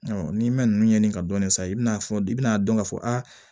n'i mɛ ninnu ɲɛɲini ka dɔɔni san i bɛna fɔ i bɛna dɔn k'a fɔ aa